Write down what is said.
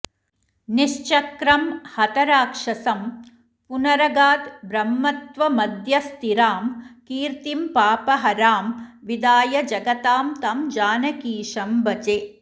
निश्चक्रं हतराक्षसं पुनरगाद्ब्रह्मत्वमद्य स्थिरां कीर्तिं पापहरां विधाय जगतां तं जानकीशं भजे